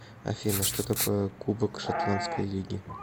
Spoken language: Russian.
афина что такое кубок шотландской лиги